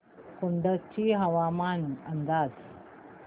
कुडची हवामान अंदाज